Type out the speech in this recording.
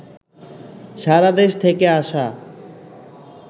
সারাদেশ থেকে আসা